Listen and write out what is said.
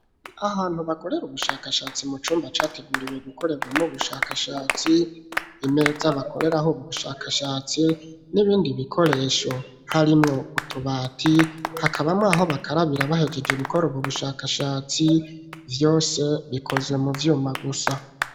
Ahantu bakorera ubushakashatsi mu cumba categuriwe gukorerwamwo bushakashatsi, imeza bakoreraho bu bushakashatsi, n'ibindi bikoresho harimwo utubati hakabamwo aho bakarabira bahegeje gukora ubwo bushakashatsi vyose bikozwe mu vyuma gusa.